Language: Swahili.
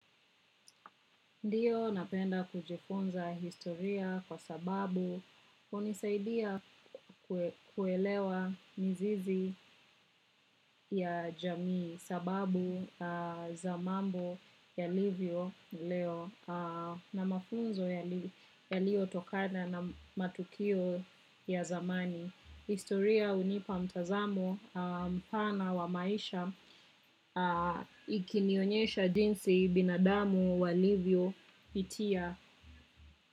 Ndio napenda kujifunza historia kwa sababu hunisaidia kuelewa mizizi ya jamii sababu za mambo yalivyo leo na mafunzo yaliyotokana na matukio ya zamani. Historia hunipa mtazamo mpana wa maisha ikinionyesha jinsi binadamu walivyopitia.